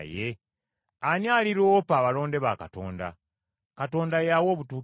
Ani aliroopa abalonde ba Katonda? Katonda y’awa obutuukirivu.